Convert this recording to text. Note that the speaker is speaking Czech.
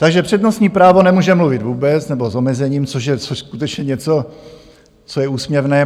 Takže přednostní právo nemůže mluvit vůbec nebo s omezením, což je skutečně něco, co je úsměvné.